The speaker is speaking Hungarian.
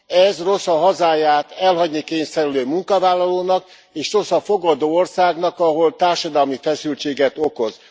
Ez rossz a hazáját elhagyni kényszerülő munkavállalónak, és rossz a fogadó országnak, ahol társadalmi feszültséget okoz.